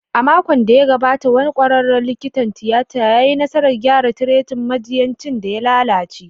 A makon da ya gabata, wani kwararen likitan tiyata ya yi nasarar gyara trachea majinyacin da ya lalace